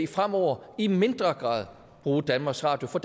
fremover i mindre grad bruge danmarks radio for